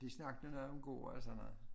De snakkede noget om gård og sådan noget